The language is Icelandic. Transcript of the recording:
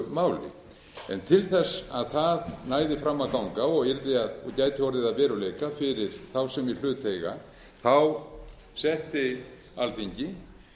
máli en til þess að það næði fram að ganga og gæti orðið að veruleika fyrir þá sem í hlut eiga setti alþingi